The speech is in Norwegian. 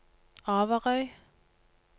Averøy